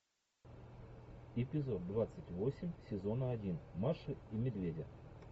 эпизод двадцать восемь сезона один маши и медведя